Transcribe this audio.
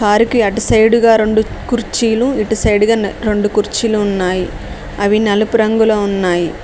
కారుకి అటు సైడుగా గా రెండు కుర్చీలు ఇటు సైడుగా గా రెండు కుర్చీలు ఉన్నాయి. అవి నలుపు రంగులో ఉన్నాయి.